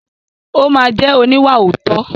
Ó máa jẹ́ oníwàòótọ́.